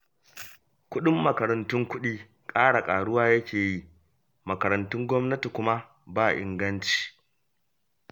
Kuɗin makarantun kuɗi ƙara ƙaruwa yake yi, makarantun gwamnati kuma, ba inganci